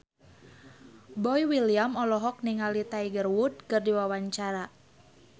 Boy William olohok ningali Tiger Wood keur diwawancara